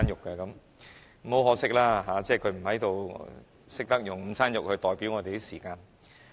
很可惜，他不在，只有他懂得以午餐肉來代表我們的時間。